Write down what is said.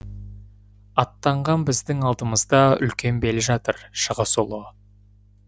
аттанған біздің алдымызда үлкен бел жатыр шығыс ұлы